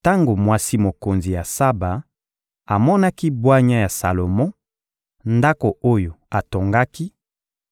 Tango mwasi mokonzi ya Saba amonaki bwanya ya Salomo, ndako oyo atongaki,